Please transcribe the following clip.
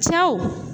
Cɛw